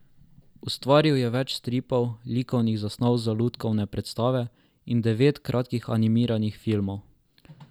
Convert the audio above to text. Ustvaril je več stripov, likovnih zasnov za lutkovne predstave in devet kratkih animiranih filmov.